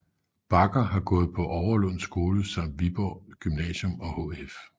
Bagger har gået på Overlund Skole samt Viborg Gymnasium og HF